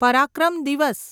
પરાક્રમ દિવસ